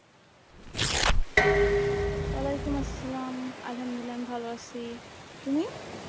অলাইকুম আসসালাম আলহামদুলিল্লাহ আমি ভালো আছি তুমি